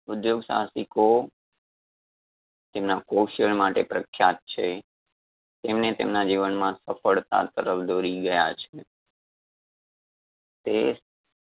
ઉધ્યોગ સાહસિકો તેમના કૌશલ માટે પ્રખ્યાત છે એમને તેમના જીવનમાં સફળતા તરફ દોરી ગયા છે. તે